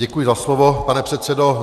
Děkuji za slovo, pane předsedo.